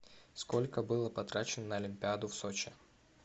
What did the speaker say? сколько было потрачено на олимпиаду в сочи